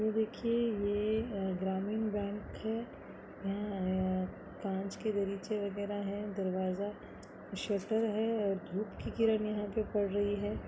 ये देखिये ये अ-ग्रामीण बैंक है य-यहाँ काँच के वगेहरा हैं दरवाज़ा शटर है और धुप की किरण यहाँ पे पड़ रही है।